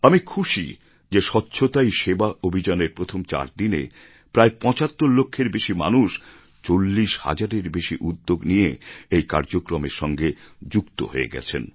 আমি খুশি যে স্বচ্ছতাই সেবা অভিযানের প্রথম চার দিনে প্রায় ৭৫ লক্ষের বেশি মানুষ ৪০ হাজারের বেশি উদ্যোগ নিয়ে এই কার্যক্রমের সঙ্গে যুক্ত হয়ে গেছেন